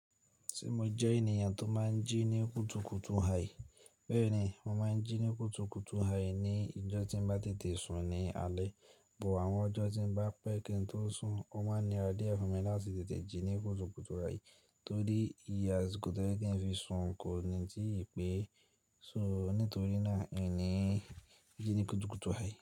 Ṣé mo jẹ́ ènìyàn tó máa ń jí ní kùtùkùtù hai? Bẹ́ẹ̀ni, mo máa ń jí ní kùtùkùtù hai ní ìjọ́ tí ń bá tètè sùn ní alẹ́, bo àwọn ọjọ́ tí ń bá pẹ́ kí n tó sùn, ó máa ń ni ra diẹ fún mi láti tètè jí ní kùtùkùtù hai torí iye àsìkò tó yẹ̀ kí n fi sùn kò ní ti ì pé. So nítorí náà, èmi ń jí ní kùtùkùtù hai.